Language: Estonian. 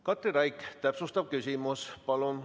Katri Raik, täpsustav küsimus, palun!